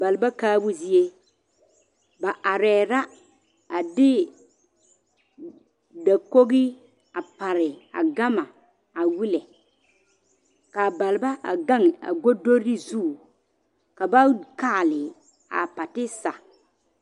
Balba kaabo zie ba arɛɛ la a de dakogi a pare a gama a wellɛ k,a balba a gaŋ a godori zu ka ba kaale a patiisa.